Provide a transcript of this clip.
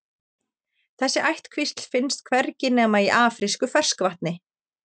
Þessi ættkvísl finnst hvergi nema í afrísku ferskvatni.